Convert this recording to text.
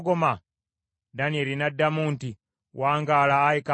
Danyeri n’addamu nti, “Wangaala, ayi kabaka.